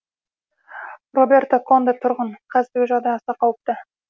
робертро конде тұрғын қазір жағдай аса қауіпті